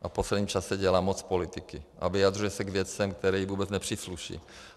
A v posledním čase dělá moc politiky a vyjadřuje se k věcem, které mu vůbec nepřísluší.